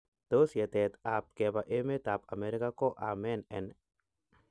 Tos yetet ap kepa Emet ap America ko amen en.